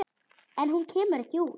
En hún kemur ekki út.